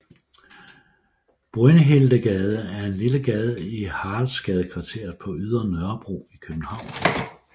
Brynhildegade er en lille gade i Haraldsgadekvarteret på Ydre Nørrebro i København